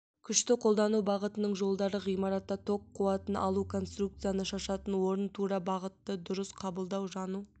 күшті қолдану бағытының жолдары ғимаратта ток қуатын алу конструкцияны шашатын орын тура бағытты дұрыс қабылдау жану